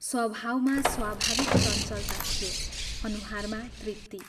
स्वभावमा स्वाभाविक चञ्चलता थियो अनुहारमा तृप्ति।